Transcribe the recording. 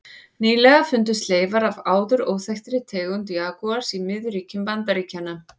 Nýlega fundust leifar af áður óþekktri tegund jagúars í miðríkjum Bandaríkjanna.